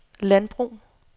landbrug